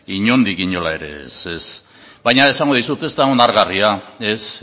inondik inora ez baina esango dizut ez da onargarria ez